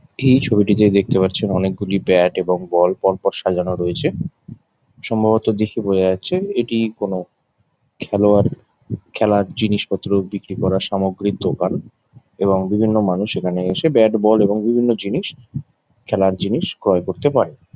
এই ছবিটিতে দেখতে পারছেন অনেকগুলি ব্যাট এবং বল পর পর সাজানো রয়েছে। সম্ভবত দেখে বোঝা যাচ্ছে এটি কোনো খেলোয়াড় খেলার জিনিসপত্র বিক্রি করার সামগ্রীর দোকান |এবং বিভিন্ন মানুষ এখানে এসে ব্যাট বল এবং বিভিন্ন জিনিস খেলার জিনিস ক্রয় করতে পারে।